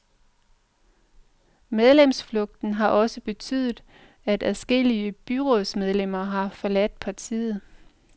Medlemsflugten har også betydet, at adskillige byrådsmedlemmer har forladt partiet.